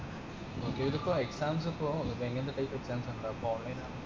ഇതിപ്പോ exams ഇപ്പൊ എങ്ങനത്തെ type exams ഇണ്ടവ online ആ